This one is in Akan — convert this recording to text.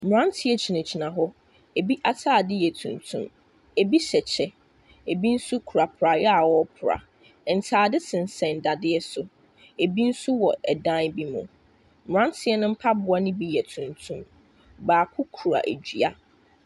Mmeranteɛ gyinagyina hɔ. Ɛbi atadeɛ yɛ tuntum. Ɛbi hyɛ kyɛ, ɛbi nso kura praeɛ a wɔrepra. Ntadeɛ sensɛn dadeɛ so. Ɛbi nso wɔ ɛdan bi mu. Mmranteɛ no mpaboa no bi yɛ tuntum. Baako kura dua.